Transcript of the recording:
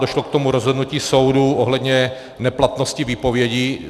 Došlo k tomu rozhodnutím soudu ohledně neplatnosti výpovědi.